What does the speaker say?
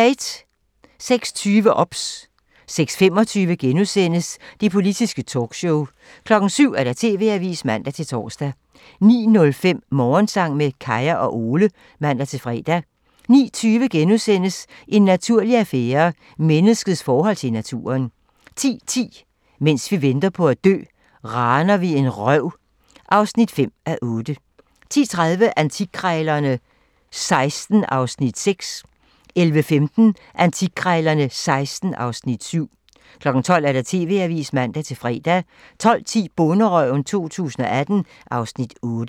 06:20: OBS (man) 06:25: Det politiske talkshow *(man) 07:00: TV-avisen (man-tor) 09:05: Morgensang med Kaya og Ole (man-fre) 09:20: En naturlig affære - Menneskets forhold til naturen * 10:10: Mens vi venter på at dø - raner vi en røv (5:8) 10:30: Antikkrejlerne XVI (Afs. 6) 11:15: Antikkrejlerne XVI (Afs. 7) 12:00: TV-avisen (man-fre) 12:10: Bonderøven 2018 (Afs. 8)